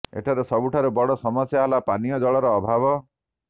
ଏଠାରେ ସବୁଠାରୁ ବଡ଼ ସମସ୍ୟା ହେଲା ପାନୀୟ ଜଳର ଅଭାବ